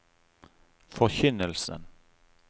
forkynnelsen